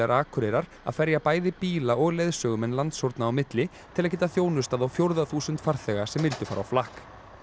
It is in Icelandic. Akureyrar að ferja bæði bíla og leiðsögumenn landshorna á milli til að geta þjónustað á fjórða þúsund farþega sem vildu fara á flakk